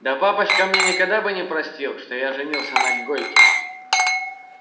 да папочка мне никогда бы не простил что я женился на гойке